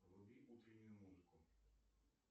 вруби утреннюю музыку